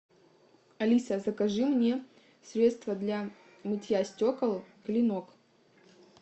алиса закажи мне средство для мытья стекол клинок